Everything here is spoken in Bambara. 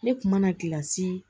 Ne kuma na kilasi